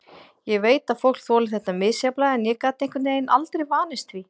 Ég veit að fólk þolir þetta misjafnlega en ég gat einhvern veginn aldrei vanist því.